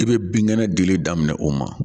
I bɛ binkɛnɛ dili daminɛ o ma